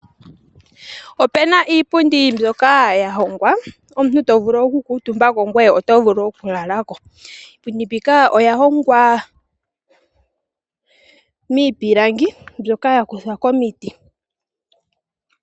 Opuna iipundi mbyoka ya hongwa omuntu ta vulu oku kuutumba ko ngweye oto vulu wo oku lala ko. Iipundi mbika oya hongwa miipilangi mbyoka ya za momiti.